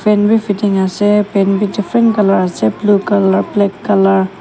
fan bhi fitting ase pan bhi different colour ase blue colour black colour --